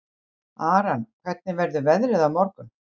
Aran, hvernig verður veðrið á morgun?